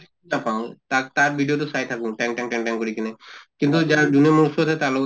নাপাওঁ তাক তাৰ video তো চাই থাকো তেং তেং তেং কৰি কিনে। কিন্তু যাৰ যোনে মোৰ ওচৰত আছে তাৰ লগত